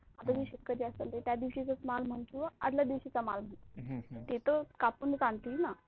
आता मी शेतकरी असेल त्यादिवाशिचाच माल मन किंवा आधल्या दिवशीचा माल मन ते तर कापूनच आणतील ना,